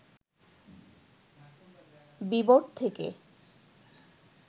বিবর থেকে